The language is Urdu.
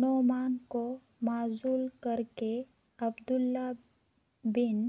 نعمان کو معزول کر کے عبیداللہ ابن